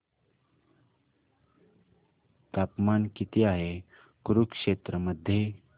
तापमान किती आहे कुरुक्षेत्र मध्ये